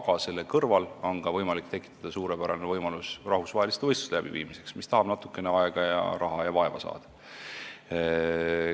Aga selle kõrval on võimalik tekitada ka suurepärane võimalus rahvusvaheliste võistluste läbiviimiseks, mis tahab natukene aega, raha ja vaeva saada.